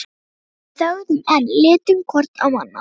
Við þögðum enn, litum hvort á annað.